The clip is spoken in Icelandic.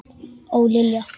Og Lilja!